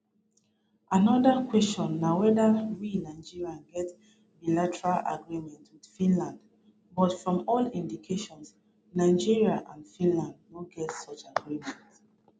anoda kwesion na weda we nigeria get bilateral agreement wit finland but from all indications nigeria and finland no get such agreement